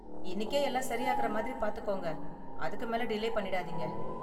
இன்னிக்கே எல்லாம் சரி ஆகுற மாதிரி பார்த்துக்கோங்க, அதுக்கு மேல டிலே பண்ணிடாதீங்க.